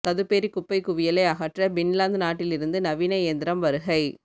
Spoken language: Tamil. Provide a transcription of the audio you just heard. சதுப்பேரி குப்பை குவியலை அகற்ற பின்லாந்து நாட்டிலிருந்து நவீன இயந்திரம் வருகை